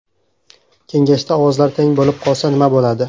Kengashda ovozlar teng bo‘lib qolsa nma bo‘ladi?